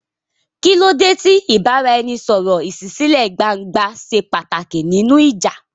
Kí ló dé tí ìbáraẹnisọ̀rọ̀ ìṣísílẹ̀-gbangba ṣe pàtàkì nínú ìjà?